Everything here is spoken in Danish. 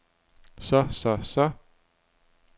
så så så